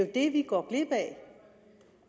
det vi går glip